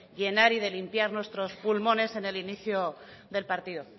llenar y de limpiar nuestro pulmones en el inicio del partido